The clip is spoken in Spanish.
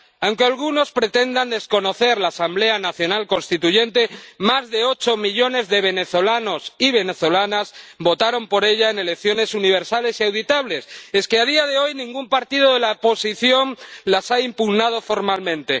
Aunque algunos pretendan desconocer la Asamblea Nacional Constituyente, más de ocho millones de venezolanos y venezolanas votaron por ella en elecciones universales y auditables y, a día de hoy, ningún partido de la oposición las ha impugnado formalmente.